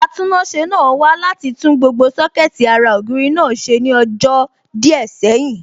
Atúnáṣe náà wá láti tún gbogbo Sọ́kẹ̀tì ara ògiri náà ṣe ní ọjọ́ díẹ̀ sẹ́yìn